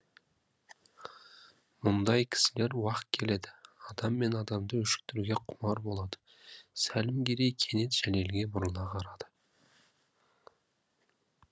мұндай кісілер уақ келеді адам мен адамды өшіктіруге құмар болады сәлімгерей кенет жәлелге бұрыла қарады